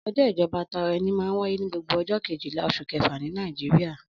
Ọjọ́ ìjọba tara ẹni máa ń wáyé ní gbogbo ọjọ́ kejìlá oṣù kẹfà ní Nàìjíríà.